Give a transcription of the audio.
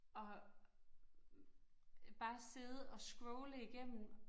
At bare sidde og scrolle igennem